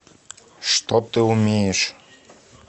что ты умеешь